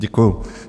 Děkuji.